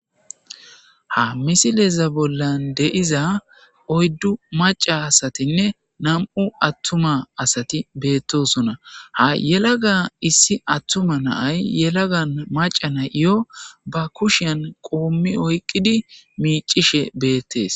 Ha misileza bollan de'iza oyddu macca asatinne nami'u attuma asati beettosona. Ha yelaga issi attuma na'ay yelaga na'iyo ba kushiyan qoommi oyiqqidi miiccishe beettes.